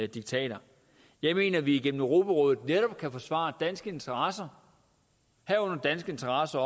diktater jeg mener at vi gennem europarådet netop kan forsvare danske interesser herunder danske interesser